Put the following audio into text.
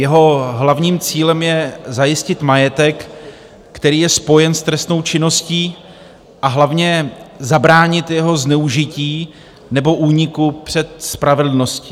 Jeho hlavním cílem je zajistit majetek, který je spojen s trestnou činností, a hlavně zabránit jeho zneužití nebo úniku před spravedlností.